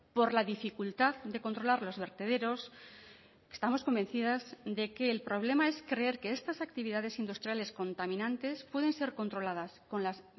por la dificultad de controlar los vertederos estamos convencidas de que el problema es creer que estas actividades industriales contaminantes pueden ser controladas con las